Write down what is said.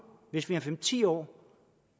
hvis vi om fem ti år